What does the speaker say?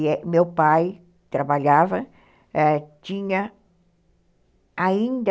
E meu pai trabalhava, é, tinha ainda...